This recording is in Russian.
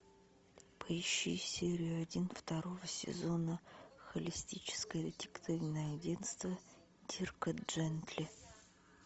поищи серию один второго сезона холистическое детективное агентство дирка джентли